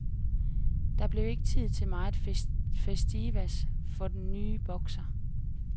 Der blev ikke tid til megen festivitas for den ny bokser.